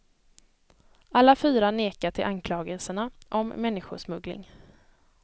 Alla fyra nekar till anklagelserna om människosmuggling.